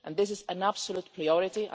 This is an absolute priority.